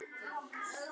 Mér er illa við það.